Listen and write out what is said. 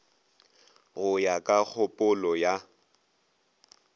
go ya ka kgopolo ya